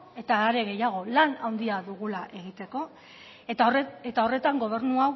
eta are gehiago lan handia dugula egiteko eta horretan gobernu